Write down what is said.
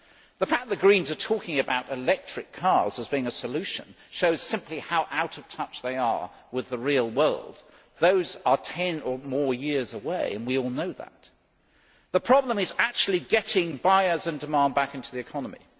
The fact that the Greens are talking about electric cars as being a solution shows simply how out of touch they are with the real world those are 10 or more years away, and we all know that. The problem is actually getting buyers and demand back into the economy.